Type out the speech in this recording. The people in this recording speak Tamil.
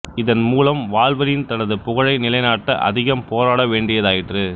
இதன் மூலம் வால்வரின் தனது புகழை நிலைநாட்ட அதிகம் போராட வேண்டியதாயிற்று